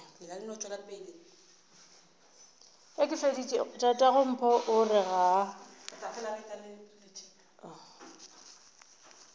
tatagompho o re ga a